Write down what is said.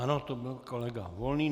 Ano, to byl kolega Volný.